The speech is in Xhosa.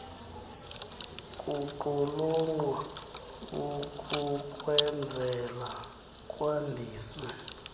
kuqulunqwa ukukwenzela kwandiswe